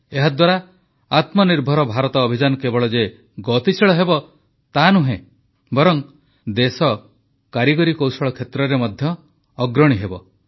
ଏହାଦ୍ୱାରା ଆତ୍ମନିର୍ଭର ଭାରତର ଅଭିଯାନ କେବଳ ଯେ ଗତିଶୀଳ ହେବ ତାହାନୁହେଁ ବରଂ ଦେଶ କାରିଗରୀ କୌଶଳ କ୍ଷେତ୍ରରେ ମଧ୍ୟ ଅଗ୍ରଣୀ ହେବ